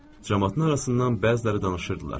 Camaatın arasından bəziləri danışırdılar.